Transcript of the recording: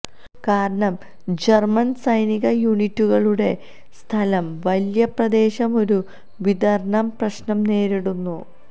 കാരണം ജർമ്മൻ സൈനിക യൂണിറ്റുകളുടെ സ്ഥലം വലിയ പ്രദേശം ഒരു വിതരണ പ്രശ്നം നേരിടുന്ന